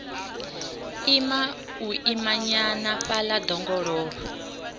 ima u imanyana fhaḽa ḓongololo